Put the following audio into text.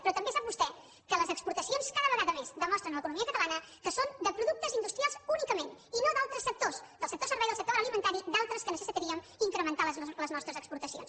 però també sap vostè que les exportacions cada vegada més demostren a l’economia catalana que són de productes industrials únicament i no d’altres sectors del sector serveis del sector agroalimentari d’altres en què necessitaríem incrementar les nostres exportacions